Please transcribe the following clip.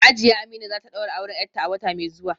Hajiya Amina za ta daura auren ‘yarta a wata mai zuwa